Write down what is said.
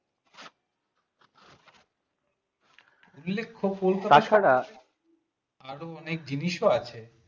উল্লেখ্য কলকাতা আরো অনেক জিনিসও আছে